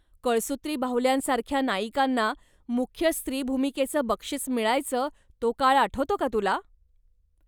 कळसूत्री बाहुल्यांसारख्या नायिकांना मुख्य स्त्रीभूमिकेचं बक्षिस मिळायचं तो काळ आठवतो का तुला?